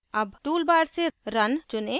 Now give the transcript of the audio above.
अब tool bar से run चुनें